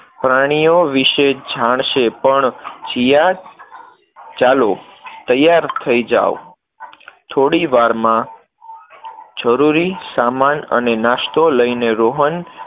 પ્રાણીઓ વિષે જાણશે પણ. જીયા, ચાલો, તૈયાર થઇ જાઓ, થોડી વારમાં જરૂરી સામાન અને નાસ્તો લઈને રોહન